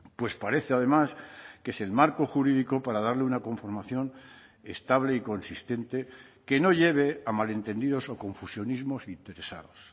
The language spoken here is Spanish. pues parece además que es el marco jurídico para darle una conformación estable y consistente que no lleve a malentendidos o confusionismos interesados